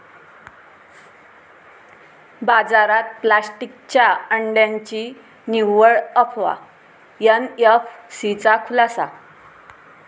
बाजारात प्लॅस्टिकच्या अंड्यांची निव्वळ अफवा, एनएफसीचा खुलासा